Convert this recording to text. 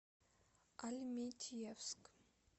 альметьевск